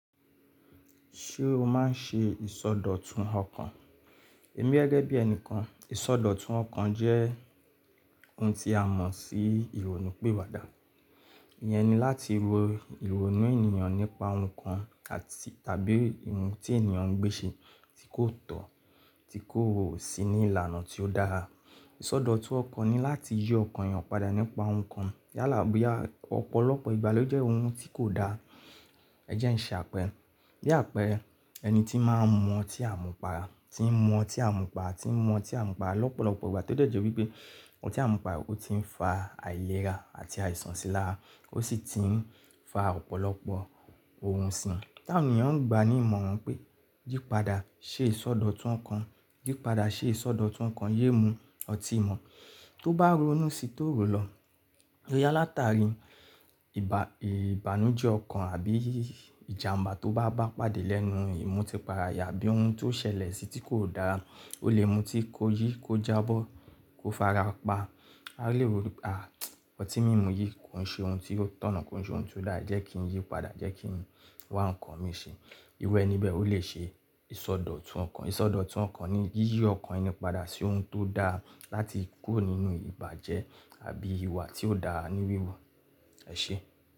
Ṣé o máa ń ṣe ìsọdọ̀tun ọkàn? Èmi gẹ́gẹ́ bí ẹnìkan, ìsọdọ̀tun ọkàn jẹ́ ohun tí a mọ̀ sí ìrònúpìwàdà. Ìyẹn ni láti ro ìrònú ènìyàn nípa ohun kan àti tàbí ohun tí ènìyàn ń gbé ṣe tí kò tọ̀, tí kò sí ní ìlànà tí ó dára. Ìsọdọ̀tun ọkàn ni láti yí ọkàn ènìyàn padà nípa ohun kan yálà bóyá ọ̀pọ̀lọpọ̀ ìgbà ló jẹ́ ohun tí kò dáa. Ẹ jẹ́ ń ṣe àpẹ́re. Bí àpẹẹrẹ ẹni tí máa ń mu ọtí à mú para, tí ń mu ọtí à mú para, tí ń mu ọtí à mú para lọ́pọ̀lọpọ̀ ìgbà tó de je wípé otí à mú para ó ti ń fa àìlera àti àìsàn sílárá ó sì ti ń fa ọ̀pọ̀lọpọ̀ ohun sìín. Tí àwọn ènìyàn ń gba ní ìmọ̀ran wi pé yí padà, ṣe ìsọdọ̀tun ọkàn, yí padà, ṣe ìsọdọ̀tun ọkàn, yé mú ọtí ì mọ̀ tó bá ronú sí toro lọ. Boyá látàrí ìbànújẹ́ ọkàn àbí ìjàmbá tó bá bá pàdé lẹ́nu ìmù tí para yen abí ohun tó ṣẹlẹ̀ sí tí kò dára. Ó lè mú tí kò yí kó jábọ́, kó fara pa. A lè ronu wí pé, "à, ọtí mímu yìí kò ń ṣe ohun tí ó tọ̀nà, kò ń ṣe ohun tí ó dáa, jẹ́ kí n yí padà, jẹ́ kí n wá ǹkan mi ṣe." Iru ení bẹ̀ ó lè ṣe ìsọdọ̀tun ọkàn. Ìsọdọ̀tun ọkàn ni yíyí ọkàn ẹni padà sí ohun tó dáa láti kúrò nínú ìbàjẹ́ àbí ìwà tí ó dáa ní wíwu. Ẹ ṣé.